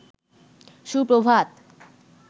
সুপ্রভাত